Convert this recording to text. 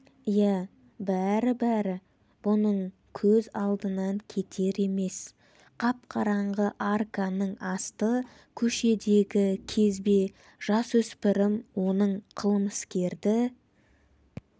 иә бәрі-бәрі бұның көз алдынан кетер емес қап-қараңғы арканың асты көшедегі кезбе жасөспірім оның қылмыскерді